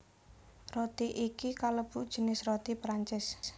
Roti iki kalebu jinis roti Prancis